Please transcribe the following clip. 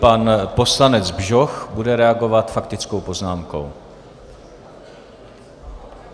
Pan poslanec Bžoch bude reagovat faktickou poznámkou.